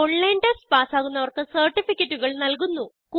online test പാസ്സാകുന്നവർക്ക് സർട്ടിഫികറ്റുകൾ നല്കുന്നു